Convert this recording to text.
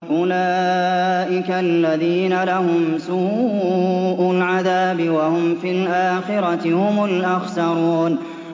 أُولَٰئِكَ الَّذِينَ لَهُمْ سُوءُ الْعَذَابِ وَهُمْ فِي الْآخِرَةِ هُمُ الْأَخْسَرُونَ